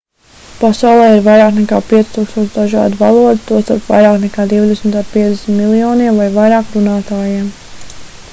pasaulē ir vairāk nekā 5000 dažādu valodu tostarp vairāk nekā divdesmit ar 50 miljoniem vai vairāk runātājiem